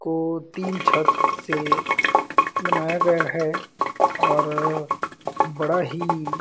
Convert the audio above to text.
को तीन छत से बनाया गया है और बड़ा ही--